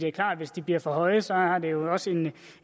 er klart at hvis de bliver for høje så har det jo også en